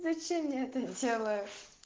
зачем я это делаю